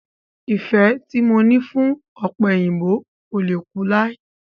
Ìfẹ tí mo ní fún ọ̀pẹ̀yìnbo kò le kú lai.